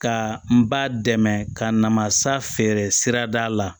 Ka n ba dɛmɛ ka namasa feere sirada la